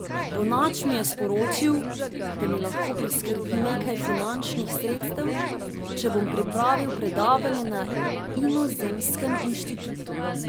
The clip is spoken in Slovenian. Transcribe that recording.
Bonač mi je sporočil, da mi lahko priskrbi nekaj finančnih sredstev, če bom pripravil predavanje na Inozemskem inštitutu.